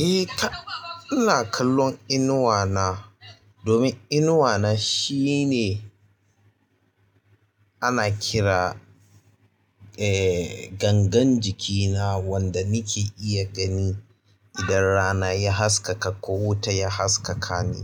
Eh to, ina kallon inuwa na domin inuwa na shine ana kira, eh, gangan jikina wanda nake iya gani idan rana ya haskaka ko wuta ya haskaka ni.